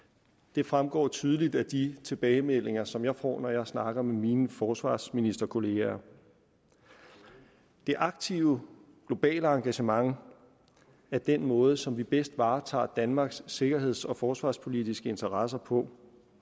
det fremgår tydeligt af de tilbagemeldinger som jeg får når jeg snakker med mine forsvarsministerkollegaer det aktive globale engagement er den måde som vi bedst varetager danmarks sikkerheds og forsvarspolitiske interesser på